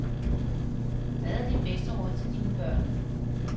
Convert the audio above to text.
Hvad er dit bedste råd til dine børn?